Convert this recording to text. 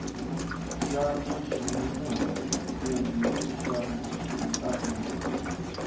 xana ximunhuhatwankulu xa ntlangu lowu